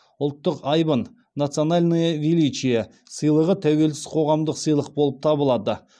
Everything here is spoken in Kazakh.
ұлттық айбын национальное величие сыйлығы тәуелсіз қоғамдық сыйлық болып табылады